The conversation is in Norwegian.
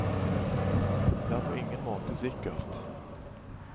Det er på ingen måte sikkert.